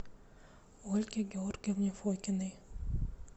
ольге георгиевне фокиной